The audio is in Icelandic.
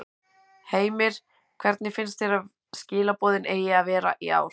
Heimir: Hver finnst þér að skilaboðin eigi að vera í ár?